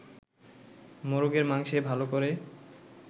মোরগের মাংসে ভালো করে